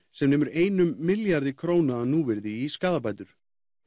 sem nemur einum milljarði króna að núvirði í skaðabætur